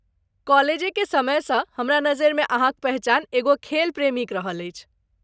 कॉलेजेके समैसँ हमरा नजरिमे अहाँक पहिचान एगो खेल प्रेमीक रहल अछि।